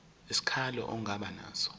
isikhalazo ongaba naso